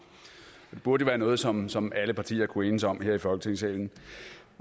det burde jo være noget som som alle partier kunne enes om her i folketingssalen